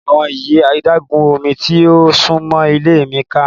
Awọn yi adagun omi ti o sunmọ ile mi ka.